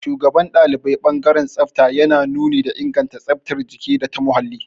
Shugaban ɗalibai ɓangaren tsafta yana nuni da inganta tsaftar jiki data muhalli.